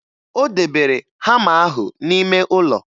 O debere hama ahụ n'ime ụlọ